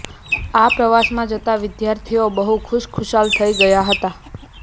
આ પ્રવાસમાં જતા વિદ્યાર્થીઓ બહુ ખૂશ ખૂશાલ થઈ ગયા હતા